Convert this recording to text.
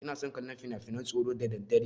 Ina son kallon finafinan tsoro da daddare.